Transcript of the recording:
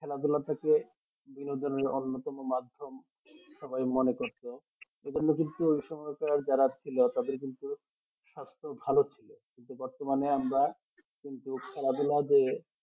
খেলাধুলা থেকে বিনোদনের অন্য তম মাধ্যম সবাই মনে করতো এই জন্য কিন্তু ওই সময়কার যারা ছিল তাদের কিন্তু সাস্থ ভালো ছিল কিন্তু বর্তমানে আমরা কিন্তু খেলাধুলা যে